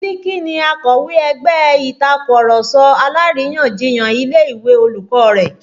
Biliki ni akọ̀wé ẹgbẹ́ Ìtàkurọ̀sọ alárìyanjiyàn ilé ìwé olùkọ́ rẹ̀